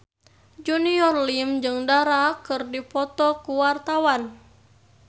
Junior Liem jeung Dara keur dipoto ku wartawan